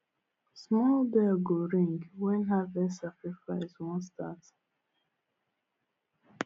small bell go ring when harvest sacrifice wan start